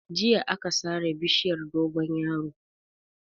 Jiya aka sare bishiyar dogonyaro.